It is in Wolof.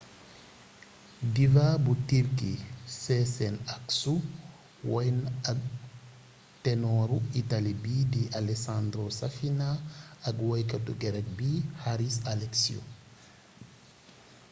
diva bu tirki sezen aksu woy na ak tenooru itaali bi di alessandro safina ak woykatu gerek bi haris alexiou